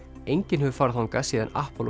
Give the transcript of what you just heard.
enginn hefur farið þangað síðan